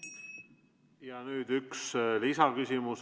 Ja nüüd üks lisaküsimus.